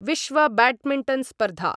विश्वब्याड्मिण्टन् स्पर्धा